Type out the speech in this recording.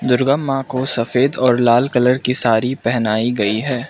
दुर्गा मां को सफेद और लाल कलर की साड़ी पहनाई गई है।